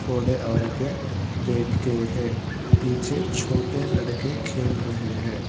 बूढ़े औरत हैं बैठ के हैं पीछे छोटे लड़के खेल रहे हैं।